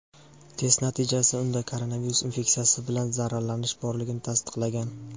Test natijasi unda koronavirus infeksiyasi bilan zararlanish borligini tasdiqlagan.